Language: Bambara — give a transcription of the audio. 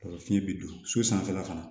fiɲɛ bi don so sanfɛla fana